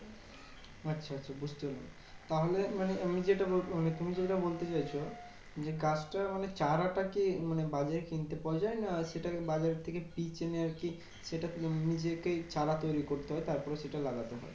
আচ্ছা আচ্ছা বুঝতে পেরেছি। তাহলে মানে আমি যেটা বল মানে তুমি যেটা বলতে চাইছো যে, গাছটা মানে চারাটাকে মানে বাজারে কিনতে পাওয়া যায়? না সেটা বাজার থেকে কিনে এনে আরকি সেটা নিজেকে চারা তৈরী করতে হয়? তারপরে সেটা লাগাতে হয়?